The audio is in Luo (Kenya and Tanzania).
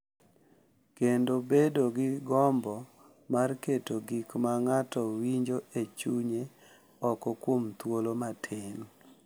Kendo bedo gi gombo mar keto gik ma ng’ato winjo e chunye oko kuom thuolo matin .